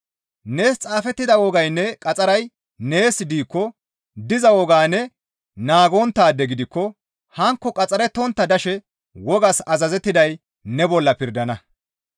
Nees xaafettida wogaynne qaxxaray nees diikko diza wogaa ne naagonttaade gidikko hankko qaxxarettontta dishe wogaas azazettiday ne bolla pirdana.